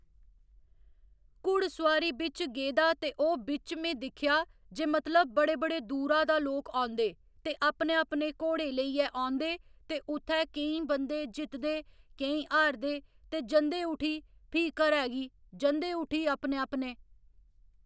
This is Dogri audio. घुड़सोआरी बिच्च गेदा ते ओह् बिच्च में दिक्खेआ जे मतलब बड़े बड़े दूरा दा लोक औंदे ते अपने अपने घोड़े लेइयै औंदे ते उत्थै केईं बंदे जित्तदे केईं हारदे ते जंदे उठी फ्ही घरै गी जंदे उठी अपने अपने